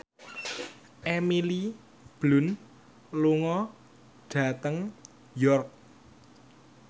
Emily Blunt lunga dhateng York